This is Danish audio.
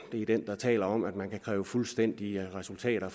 er den der taler om at man kan kræve fuldstændige resultater